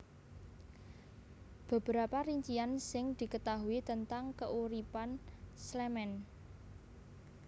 Beberapa rincian sing diketaui tentang keuripan Clement